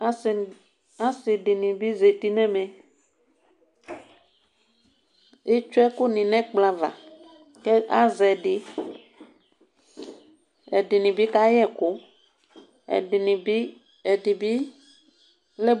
Asidini bi zati nʋ ɛmɛ etsue ɛkʋ ni nʋ ɛkplɔ ava kʋ azɛ ɛdi ɛdini bi kaya ɛkʋ ɛdini bi